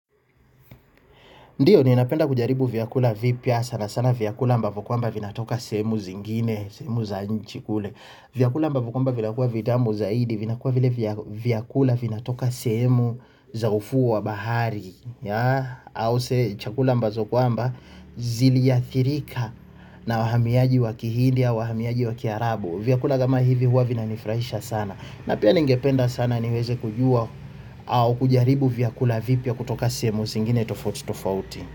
Ndiyo ninapenda kujaribu vyakula vipya sana sana vyakula ambavo kwamba vinatoka sehemu zingine, sehemu za nje kule. Vyakula ambavo kwamba vinakuwa vitamu zaidi, vinakuwa vile vyakula vinatoka sehemu za ufuo wa baharini. Au chakula ambazo kwamba ziliathirika na wahamiaji wa Kihindi au wahamiaji wa Kiarabu. Vyakula kama hivi huwa vinanifurahisha sana. Na pia ningependa sana niweze kujua au kujaribu vyakula vipya kutoka sehemu zingine tofauti tofauti.